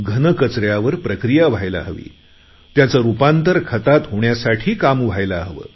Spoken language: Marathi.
घनकचऱ्यावर प्रक्रिया व्हायला हवी त्याचे रुपांतर खतात होण्यासाठी काम व्हायला हवे